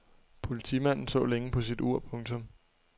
Politimanden så længe på sit ur. punktum